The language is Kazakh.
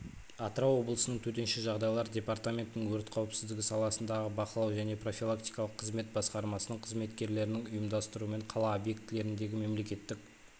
атырау облысының төтенше жағдайлар департаментінің өрт қауіпсіздігі саласындағы бақылау және профилактикалық қызмет басқармасының қызметкерлерінің ұйымдастыруымен қала объектілеріндегі мемлекеттік